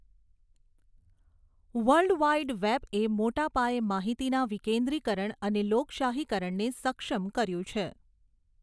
World wide વેબએ મોટા પાયે માહિતીના વિકેન્દ્રીકરણ અને લોકશાહીકરણને સક્ષમ કર્યું છે.